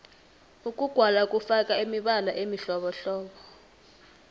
ukugwala kufaka imibala emihlobohlobo